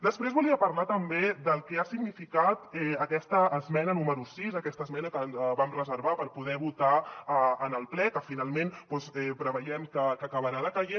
després volia parlar també del que ha significat aquesta esmena número sis aquesta esmena que vam reservar per poder votar en el ple que finalment preveiem que acabarà decaient